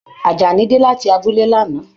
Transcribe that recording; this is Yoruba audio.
Ajání dé láti abúlé l'ana.